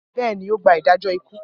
Bẹ́ẹ̀ ni, ó gba ìdájọ́ ikú.